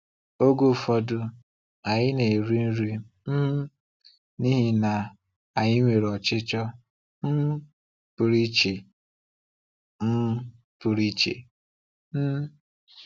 Oge ụfọdụ, anyị na-eri nri um n’ihi na anyị nwere ọchịchọ um pụrụ iche. um pụrụ iche. um